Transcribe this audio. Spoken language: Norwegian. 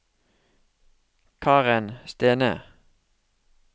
Karen Stene